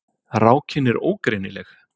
Rákin er ógreinileg.